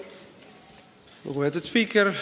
Lugupeetud spiiker!